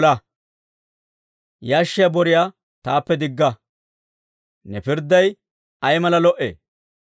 Yashshiyaa boriyaa taappe digga. Ne pirdday ay mala lo"ee!